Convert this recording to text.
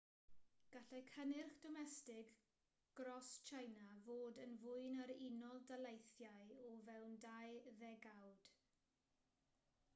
gallai cynnyrch domestig gros tsieina fod yn fwy na'r unol daleithiau o fewn dau ddegawd